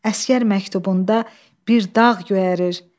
Əsgər məktubunda bir dağ göyərər.